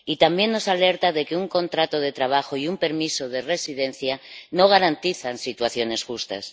Y también nos alerta de que un contrato de trabajo y un permiso de residencia no garantizan situaciones justas.